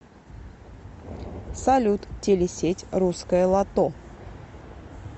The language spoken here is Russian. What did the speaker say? салют телесеть русское лото